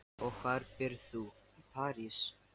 Og hvar býrð þú í París?